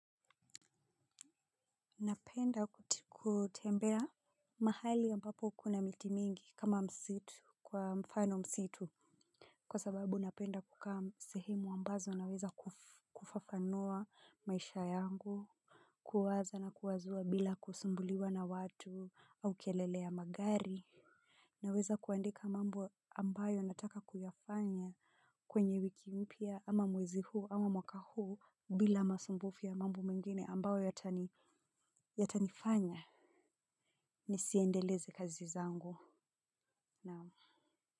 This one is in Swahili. Napenda kutembea mahali ambapo kuna miti mingi kama msitu kwa mfano msitu, kwa sababu napenda kukaa sehemu ambazo naweza kufafanua maisha yangu. Kuwaza na kuwazua bila kusumbuliwa na watu au kelele ya magari. Naweza kuandika mambo ambayo nataka kuyafanya. Kwenye wiki mpya ama mwezi huu ama mwaka huu bila masumbufi ya mambu mengine ambayo yatanifanya ni siendeleze kazi zangu na.